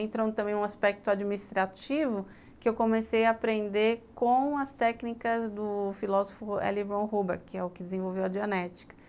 Entrou também um aspecto administrativo que eu comecei a aprender com as técnicas do filósofo L. Ron Hubbard, que é o que desenvolveu a genética.